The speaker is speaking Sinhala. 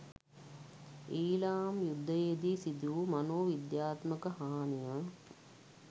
ඊළාම් යුද්ධයේදී සිදුවූ මනෝවිද්‍යාත්මක හානිය